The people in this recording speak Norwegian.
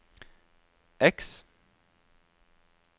X